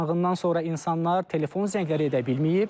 Yanğından sonra insanlar telefon zəngləri edə bilməyib,